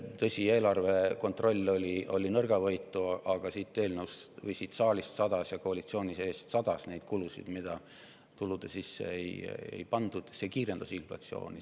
Tõsi, eelarve kontroll oli nõrgavõitu, aga siit saalist ja koalitsiooni seest sadas selliseid kulusid, mida tuludesse ei pandud, see kiirendas inflatsiooni.